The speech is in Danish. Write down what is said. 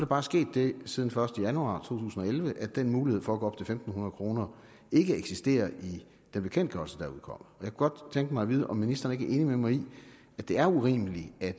bare sket det siden den første januar to tusind og elleve at den mulighed for at gå fem hundrede kroner ikke eksisterer i den bekendtgørelse der er udkommet jeg kunne godt tænke mig at vide om ministeren enig med mig i at det er urimeligt at